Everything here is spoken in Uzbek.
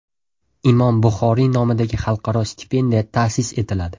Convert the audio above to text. Imom Buxoriy nomidagi xalqaro stipendiya ta’sis etiladi.